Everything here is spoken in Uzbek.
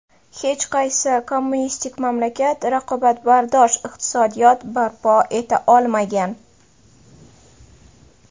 Hech qaysi kommunistik mamlakat raqobatbardosh iqtisodiyot barpo eta olmagan.